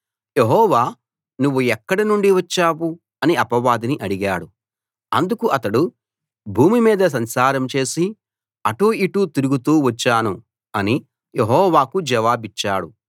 యెహోవా నువ్వు ఎక్కడ నుండి వచ్చావు అని అపవాదిని అడిగాడు అందుకు అతడు భూమి మీద సంచారం చేసి అటూ ఇటూ తిరుగుతూ వచ్చాను అని యెహోవాకు జవాబిచ్చాడు